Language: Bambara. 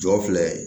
Jɔ filɛ